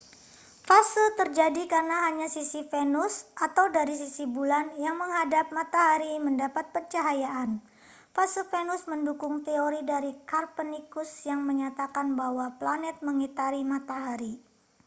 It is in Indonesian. fase terjadi karena hanya sisi venus atau dari sisi bulan yang menghadap matahari mendapat pencahayaan. fase venus mendukung teori dari copernicus yang menyatakan bahwa planet mengitari matahari